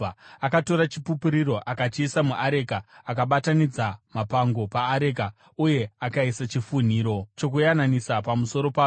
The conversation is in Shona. Akatora Chipupuriro akachiisa muareka, akabatanidza mapango paareka uye akaisa chifunhiro chokuyananisa pamusoro payo.